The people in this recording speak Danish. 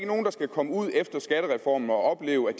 nogen der skal komme ud efter skattereformen og opleve at